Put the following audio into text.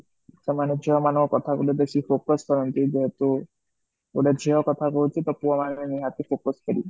ସେ ମାନେ ଝିଅ ମାନଙ୍କ କଥା କୁ ବେଶୀ focus କରନ୍ତି ଯେହେତୁ ଗୋଟେ ଝିଅ କଥା କହୁଛି ତା ପୁଅ ମାନେ ନିହାତି focus କରିବେ